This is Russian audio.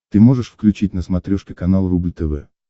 ты можешь включить на смотрешке канал рубль тв